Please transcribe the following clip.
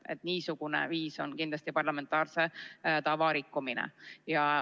Et niisugune viis on kindlasti parlamentaarse tava rikkumine.